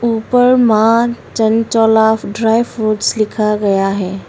ऊपर Maa Chanchal of dry fruits लिखा गया है।